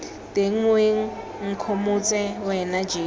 teng moeng nkgomotse wena jeso